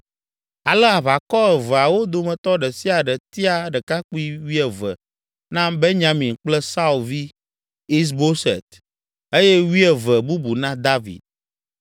Ale aʋakɔ eveawo dometɔ ɖe sia ɖe tia ɖekakpui wuieve na Benyamin kple Saul vi Is Boset eye wuieve bubu na David.